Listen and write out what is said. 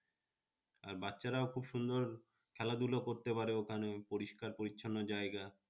আর বাচ্চারাও খুব সুন্দর খেলাধুলো করতে পারে ওখানে পরিষ্কার পরিচ্ছন্ন জায়গা।